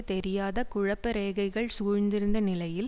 தெரியாத குழப்ப ரேகைகள் சூழ்ந்திருந்த நிலையில்